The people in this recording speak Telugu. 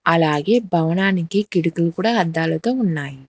అలాగే భవనానికి కిటికీలు కూడా అద్దాలతో ఉన్నాయి.